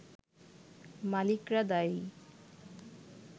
মালিকরা দায়ী